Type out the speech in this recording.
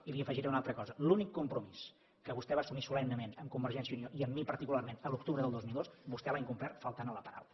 i li afegiré una altra cosa l’únic compromís que vostè va assumir solemnement amb convergència i unió i amb mi particularment l’octubre del dos mil dos vostè l’ha incomplert faltant a la paraula